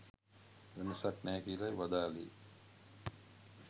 වෙනසක් නෑ කියලයි වදාළේ